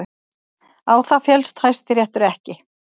Á það féllst Hæstiréttur ekki